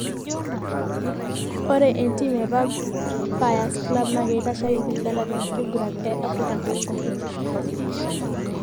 Ore entiim e Vipers club naa keitasheki Uganda tenkiguran e Africa cup competitions.